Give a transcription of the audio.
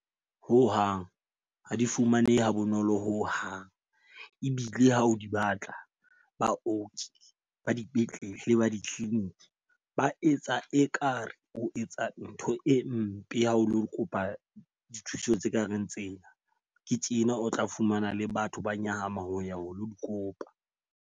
Ho hang ha di fumanehe ha bonolo ho hang. Ebile ha o di batla baoki ba dipetlele ba di-clinic ba etsa ekare o etsa ntho e mpe ha o lo kopa dithuso tse ka reng tsena. Ke tjena o tla fumana le batho ba nyahama ho ya ho lo di kopa.